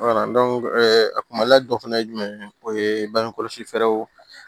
a kumali dɔ fɛnɛ ye jumɛn ye o ye bange kɔlɔsi fɛɛrɛw